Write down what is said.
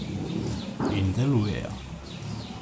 In delujejo.